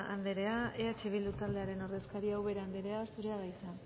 anderea eh bildu taldearen ordezkaria ubera anderea zurea da hitza